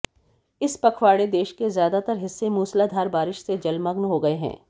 इस पखवाड़े देश के ज्यादातर हिस्से मूसलाधार बारिश से जलमग्न हो गए हैं